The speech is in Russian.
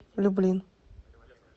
люблин